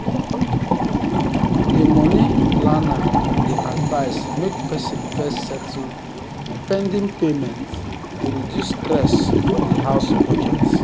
di money planner dey advise make person first settle di pending payments to reduce stress for di house budget